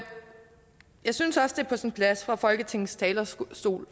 synes også at det er på sin plads fra folketingets talerstol